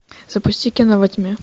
запусти кино во тьме